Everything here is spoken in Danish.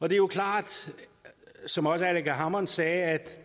jo klart som også aleqa hammond sagde at